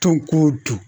Tɔn ko dun